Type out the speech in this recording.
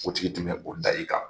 O tigi tun bɛ o da i kan.